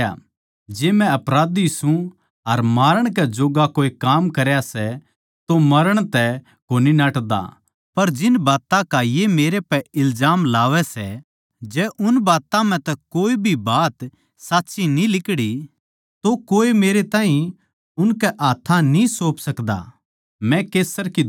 जै मै अपराधी सूं अर मारण कै जोग्गा कोए काम करया सै तो मरण तै कोनी नाटदा पर जिन बात्तां की ये मेरै पै इल्जाम लावै सै जै उन म्ह तै कोए भी बात साच्ची न्ही लिकड़ी तो कोए मेरै ताहीं उनकै हाथ्थां न्ही सौंप सकदा मै कैसर की दुहाई द्यु सूं